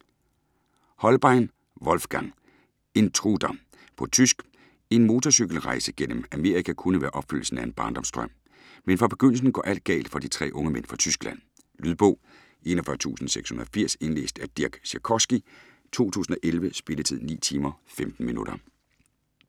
Hohlbein, Wolfgang: Intruder På tysk. En motorcykelrejse gennem Amerika kunne være opfyldelsen af en barndomsdrøm. Men fra begyndelsen går alt galt for de tre unge mænd fra Tyskland. Lydbog 41680 Indlæst af Dirk Sikorski, 2011. Spilletid: 9 timer, 15 minutter.